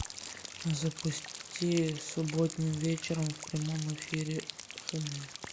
запусти субботним вечером в прямом эфире хд